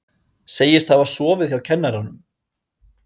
Segist hafa sofið hjá kennaranum